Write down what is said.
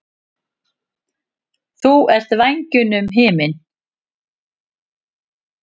Þú ert vængjunum himinn.